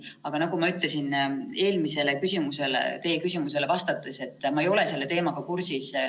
Aga nagu ma ütlesin teie eelmisele küsimusele vastates, ma ei ole selle teemaga kursis.